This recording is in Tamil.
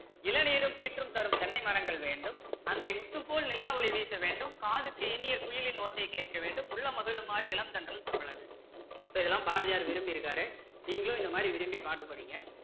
இளநீரும் கீற்றும் தரும் தென்னை மரங்கள் வேண்டும் அங்கே முத்துப்போல் நிலாவொளி வீச வேண்டும் காதுக்கு இனிய குயிலின் ஓசை கேட்க வேண்டும் உள்ளம் மகிழுமாரு இளம் தென்றல தவிழ வேண்டும் so இதெல்லாம் பாரதியார் விரும்பி இருக்காரு நீங்களும் இந்த மாதிரி விரும்பி பாடம் படிங்க